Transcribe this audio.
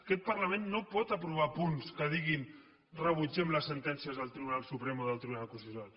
aquest parlament no pot aprovar punts que diguin rebutgem les sentències del tribunal suprem o del tribunal constitucional